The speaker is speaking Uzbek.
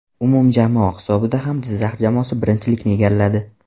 Umumjamoa hisobida ham Jizzax jamoasi birinchilikni egalladi.